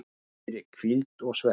fyrir hvíld og svefn